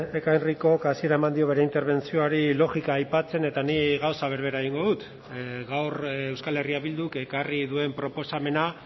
ekain ricok hasiera eman dio bere interbentzioari logika aipatzen eta nik gauza berbera egingo dut gaur euskal herria bilduk ekarri duen proposamena